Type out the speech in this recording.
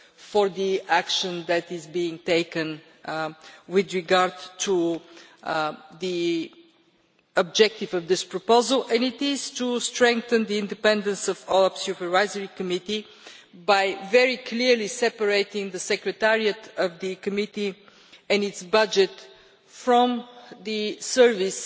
for the action that is being taken with regard to the objective of this proposal, and it will strengthen the independence of OLAF's Supervisory Committee by very clearly separating the secretariat of the Committee and its budget from the service